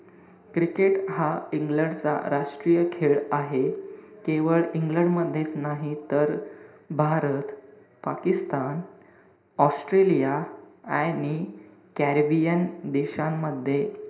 cricket हा England चा राष्ट्रीय खेळ आहे. केवळ इंग्लंड मधेच नाही तर, भारत, पाकिस्तान, ऑस्ट्रेलिया आणि कॅरेबियन देशांमध्ये,